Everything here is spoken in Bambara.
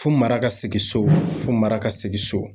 Fo mara ka segin so, fo mara ka segin so.